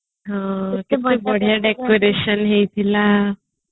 ବଢିଆ decoration ହେଇଥିଲା